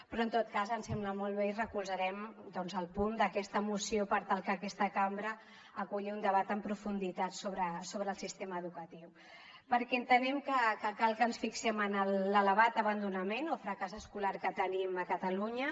però en tot cas ens sembla molt bé i recolzarem el punt d’aquesta moció per tal que aquesta cambra aculli un debat en profunditat sobre el sistema educatiu perquè entenem que cal que ens fixem en l’elevat abandonament o fracàs escolar que tenim a catalunya